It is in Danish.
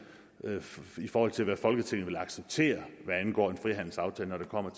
i forhold til hvad folketinget vil acceptere hvad angår en frihandelsaftale når det kommer